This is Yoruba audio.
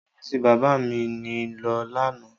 Ọ́fíìsì bàbá mi ni lọ lánàá.